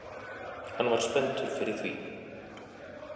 Hann var spenntur fyrir því